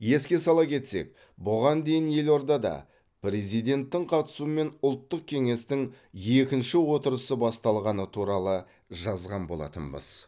еске сала кетсек бұған дейін елордада президенттің қатысуымен ұлттық кеңестің екінші отырысы басталғаны туралы жазған болатынбыз